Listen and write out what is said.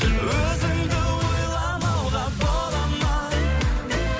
өзіңді ойламауға бола ма